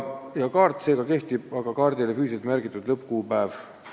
Kaart kehtib seega edasi, aga sinna jääb vana füüsiliselt märgitud lõppkuupäev.